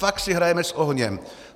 Fakt si hrajeme s ohněm.